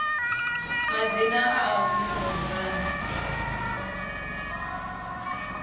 madzina a a humiselwa murahu